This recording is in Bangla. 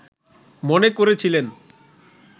মনে করেছিলেন